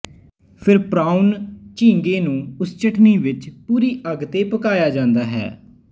ਫਿਰ ਪ੍ਰਾਓਨ ਝੀਂਗੇ ਨੂੰ ਉਸ ਚਟਨੀ ਵਿੱਚ ਪੂਰੀ ਅੱਗ ਤੇ ਪਕਾਇਆ ਜਾਂਦਾ ਹੈ